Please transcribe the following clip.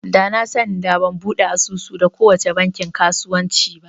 Da na sani da ban buɗe asusu da kowace bankin kasuwanci ba